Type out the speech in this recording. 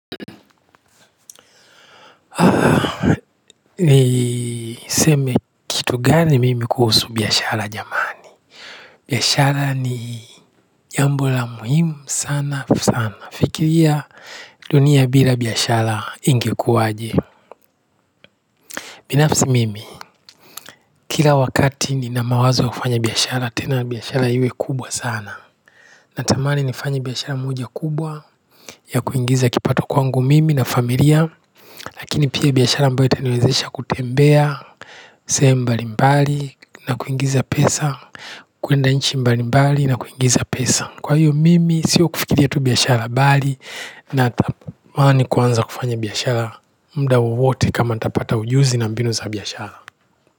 Ni seme kitu gani mimi kuhusu biashara jamani biashara ni jambo la muhimu sana sana fikiria dunia bila biashara ingekuaje binafsi mimi kila wakati nina mawazo ya kufanya biashara tena biashara iwe kubwa sana natamani nifanye biashara moja kubwa ya kuingiza kipato kwangu mimi na familia lakini pia biashara ambayo itaniwezesha kutembea sehemu mbali mbali na kuingiza pesa kuenda nchi mbali mbali nakuingiza pesa kwa hiyo mimi sio kufikiria tu biashara bali natamani kuanza kufanya biashara muda wowote kama ntapata ujuzi na mbinu za biashara.